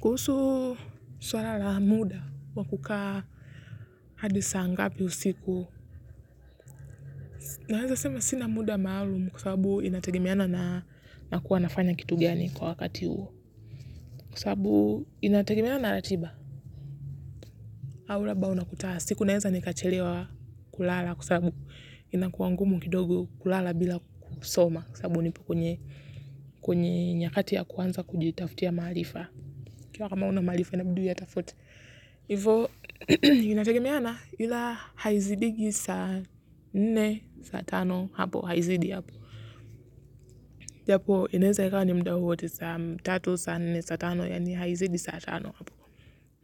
Kuhusu swala la muda wa kukaa hadi saa ngapi usiku. Naweza sema sina muda maalumu kwa sababu inategemeana na nakuwa nafanya kitu gani kwa wakati huo. Kwa sababu inategemeana na ratiba. Au labda unakuta. Siku naweza nikachelewa kulala kwa sababu abu inakuwa ngumu kidogo kulala bila kusoma. Kwa sababu hunipa kwenye kwenye nyakati ya kuanza kujitafutia maarifa. Ukiwa kama huna maarifa inabidi uyatafute. Hivo, inategemeana ila haizidiki saa nne, saa tano hapo, haizidi hapo. Japo, inaeza ikawa ni muda wowote saa tatu, saa nne, saa tano, yaani haizidi saa tano hapo.